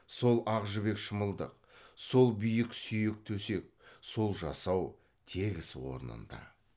сол ақ жібек шымылдық сол биік сүйек төсек сол жасау тегіс орнында